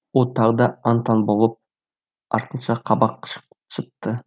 ол тағы да ан таңн болып артынша қабақ шытты